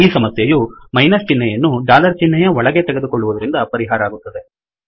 ಈ ಸಮಸ್ಯೆಯು ಮೈನಸ್ ಚಿಹ್ನೆಯನ್ನು ಡಾಲರ್ ಚಿಹ್ನೆಯ ಒಳಗಡೆ ತೆಗೆದುಕೊಳ್ಳುವದರಿಂದ ಪರಿಹಾರ ಆಗುತ್ತದೆ